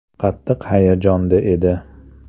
Qattiq hayajonda edi.